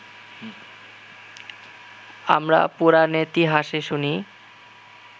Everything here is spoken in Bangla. আমরা পুরাণেতিহাসে শুনি